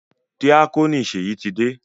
Díákónì Ṣèyí ti dé.